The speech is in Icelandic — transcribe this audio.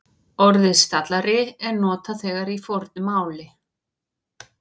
Orðið stallari er notað þegar í fornu máli.